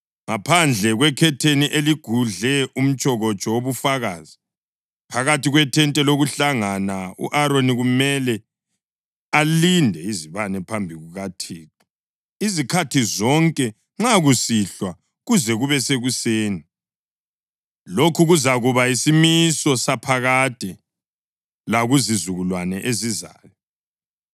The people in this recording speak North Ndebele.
Ngaphandle kwekhetheni eligudle umtshokotsho wobufakazi, phakathi kwethente lokuhlangana u-Aroni kumele alinde izibane phambi kukaThixo izikhathi zonke nxa kusihlwa kuze kube sekuseni. Lokhu kuzakuba yisimiso saphakade lakuzizukulwane ezizayo.